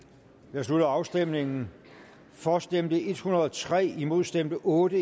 jeg slutter afstemningen for stemte en hundrede og tre imod stemte otte